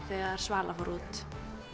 þegar Svala fór út